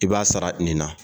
I b'a sara nin na